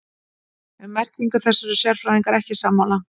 Um merkingu þess eru sérfræðingar ekki sammála.